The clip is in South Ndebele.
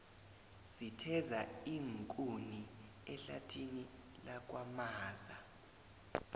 sitheza iinkuni ehlathini lakwamaza